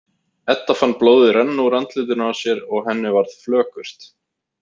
Edda fann blóðið renna úr andlitinu á sér og henni varð flökurt.